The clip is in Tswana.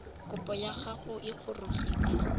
kopo ya gago e gorogile